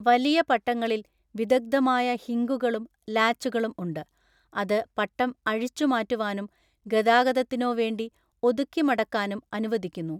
വലിയ പട്ടങ്ങളിൽ, വിദഗ്‌ധമായ ഹിംഗുകളും ലാച്ചുകളും ഉണ്ട്, അത് പട്ടം അഴിച്ചുമാറ്റുവാനും ഗതാഗതത്തിനോ വേണ്ടി ഒതുക്കി മടക്കാനും അനുവദിക്കുന്നു.